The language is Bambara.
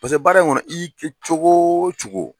Paseke baara in kɔnɔ ka y'i kɛ cogo o cogo